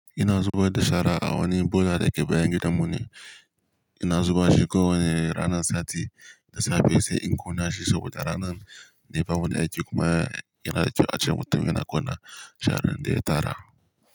Ina zubar da shara a wani bola da ke bayan gidanmu ne, ina zuba shi kawai ranar sati da safe sai in ƙona shi saboda ranan ne bamu da aiki kuma yana kyau ace mutum yana ƙona sharan da ya tara.